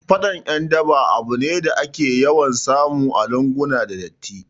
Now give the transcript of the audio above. Faɗan ƴan daba abu ne da ake yawan samu a lunguna da datti